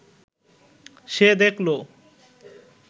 সে দেখল